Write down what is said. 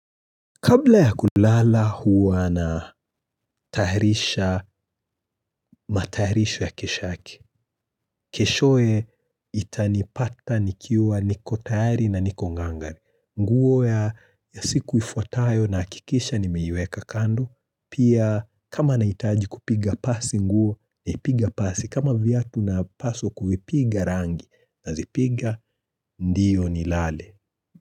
Kabla ya kulala huwa na taharisha mataharisho ya kesho yake, keshoe itanipata nikiwa niko tayari na niko ngangari. Nguo ya siku ifuatayo nahakikisha nimeiweka kando. Pia kama naitaji kupiga pasi nguo, niipiga pasi. Kama vyatu na paso kufipiga rangi na zipiga ndiyo ni lale.